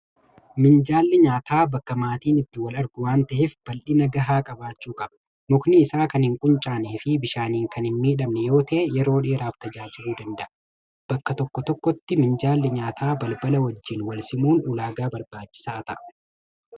Minjaalli nyaataa bakka maatiin itti wal argu waan ta'eef, bal'ina gahaa qabaachuu qaba. Mukni isaa kan hin quncaane fi bishaaniin kan hin miidhamne yoo ta'e, yeroo dheeraaf tajaajiluu danda'a. Bakka tokko tokkotti minjaalli nyaataa balbala wajjin wal simuun ulaagaa barbaachisaa ta'a.